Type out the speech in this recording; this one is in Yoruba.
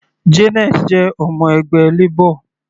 Janet jẹ ọmọ ẹgbẹ́ Labor.